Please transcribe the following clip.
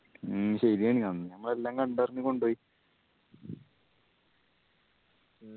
മ്മ് ശെരിയാണ് അന്ന് ഞമ്മള് എല്ലാം കണ്ട്‌ അറിഞ്ഞു കൊണ്ട് പോയി